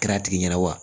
Kɛra a tigi ɲɛna wa